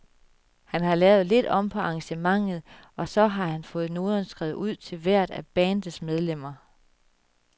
Han har lavet lidt om på arrangementet, og så har han fået noderne skrevet ud til hvert af bandets medlemmer.